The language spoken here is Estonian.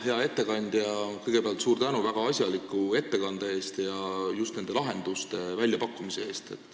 Hea ettekandja, kõigepealt suur tänu väga asjaliku ettekande eest, eriti just nende lahenduste väljapakkumise eest!